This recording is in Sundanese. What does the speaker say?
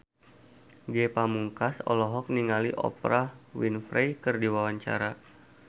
Ge Pamungkas olohok ningali Oprah Winfrey keur diwawancara